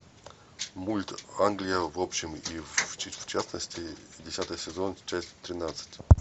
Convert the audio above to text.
мульт англия в общем и в частности десятый сезон часть тринадцать